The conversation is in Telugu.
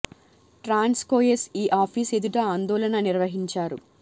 ట్రాన్స్ కో ఎస్ ఈ ఆఫీస్ ఎదుట ఆందోళన నిర్వహించారు